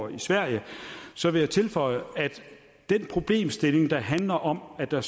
i sverige så vil jeg tilføje at den problemstilling der handler om at der